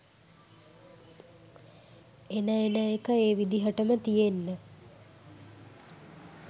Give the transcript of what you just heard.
එන එන එක ඒ විදිහටම තියෙන්න